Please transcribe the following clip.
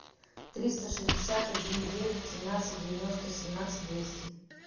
триста шестьдесят один девять семнадцать девяносто семнадцать двести